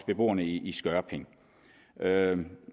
beboerne i skørping